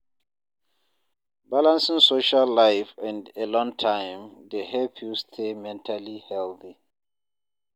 Balancing social life and alone time dey help you stay mentally healthy.